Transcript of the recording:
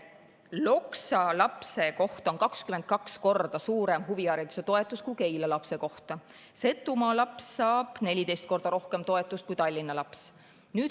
Loksa lapse kohta on huvihariduse toetus 22 korda suurem kui Keila lapse kohta, Setumaa laps saab 14 korda rohkem toetust kui Tallinna laps.